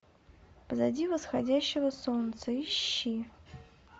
позади восходящего солнца ищи